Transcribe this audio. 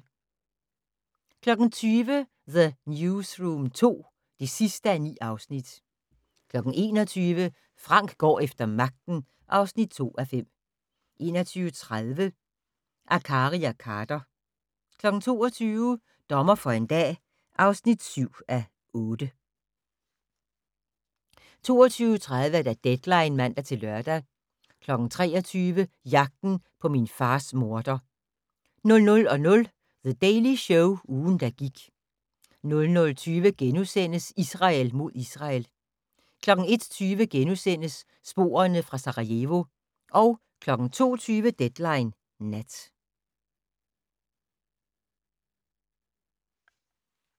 20:00: The Newsroom II (9:9) 21:00: Frank går efter magten (2:5) 21:30: Akkari og Khader 22:00: Dommer for en dag (7:8) 22:30: Deadline (man-lør) 23:00: Jagten på min fars morder 00:00: The Daily Show - ugen, der gik 00:20: Israel mod Israel * 01:20: Sporene fra Sarajevo * 02:20: Deadline Nat